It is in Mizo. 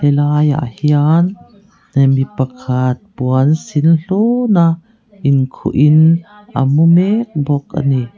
helai ah hian eh mi pakhat puan sin hlun a inkhuh in amu mek bawk a ni.